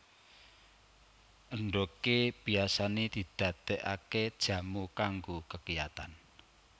Endhogé biasané didadèkaké jamu kanggo kekiyatan